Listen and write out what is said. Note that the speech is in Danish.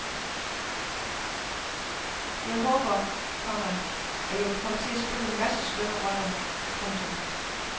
Jeg håber, komma at jeg vil komme til at spille en masse skønne roller. punktum